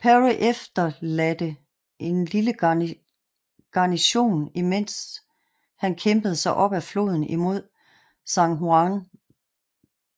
Perry efterladte en lille garsion imens han kæmpede sig op af floden imod San Juan